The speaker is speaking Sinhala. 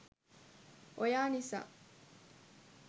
ඔයා නිසා